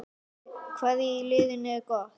Hvað í liðinu er gott?